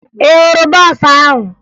Ị hụrụ bọọsụ ahụ?